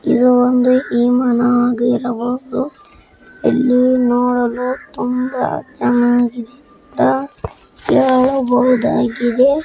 ಇದು ಒಂದು ವಿಮಾನ ಆಗಿರಬಹುದು ನೋಡೋಕೆ ತುಂಬಾ ಚೆನ್ನಾಗಿ ಕಾಣುತ್ತದೆ.